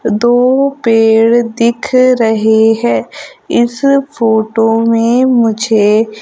दो पेड़ दिख रहें हैं इस फोटो में मुझे--